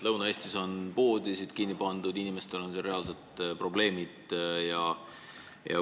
Lõuna-Eestis on poode kinni pandud, inimestel on seal reaalsed probleemid.